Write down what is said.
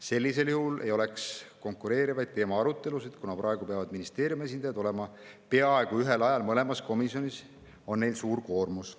Sellisel juhul ei oleks konkureerivaid teemaarutelusid ja kuna praegu peavad ministeeriumi esindajad olema peaaegu ühel ajal mõlemas komisjonis, on neil suur koormus.